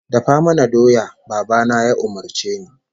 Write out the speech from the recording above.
"Dafa mana doya", Baba na ya umurce ni.